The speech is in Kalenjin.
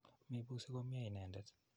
Mepusi komnye inendet.